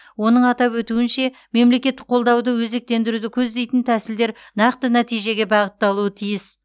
оның атап өтуінше мемлекеттік қолдауды өзектендіруді көздейтін тәсілдер нақты нәтижеге бағытталуы тиіс